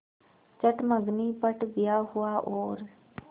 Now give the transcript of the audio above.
चट मँगनी पट ब्याह हुआ और